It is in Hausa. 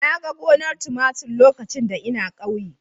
Na ga gonar tumatir lokacin da ina ƙauye.